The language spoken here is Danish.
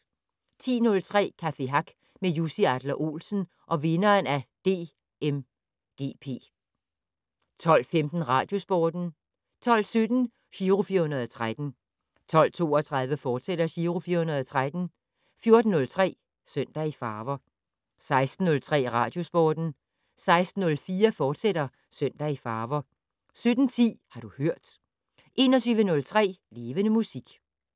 10:03: Café Hack med Jussi Adler-Olsen og vinderen af DMGP 12:15: Radiosporten 12:17: Giro 413 12:32: Giro 413, fortsat 14:03: Søndag i farver 16:03: Radiosporten 16:04: Søndag i farver, fortsat 17:10: Har du hørt 21:03: Levende Musik